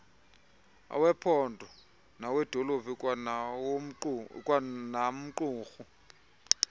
owephondo nowedolophu kwanamqumrhu